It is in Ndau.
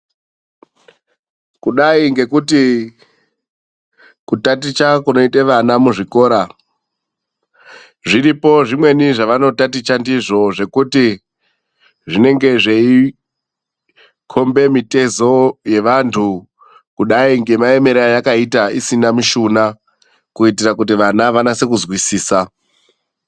Kudai ngekuti kutaticha kunoita vana muzvikora zviripo zvimweni vanotaticha ndizvoo zvekuti zvinenge zveikomba mitezo yevandu kudai nemaemero ayakaita isina mushuna kuitira kuti vana vanase kuzwisisa.